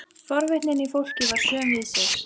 Hún gekk á undan mér að íbúðinni sinni.